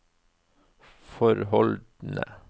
forholdene